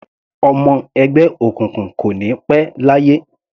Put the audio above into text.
Ọmọ ẹgbẹ́ òkùnkùn kò ní pẹ́ láyé.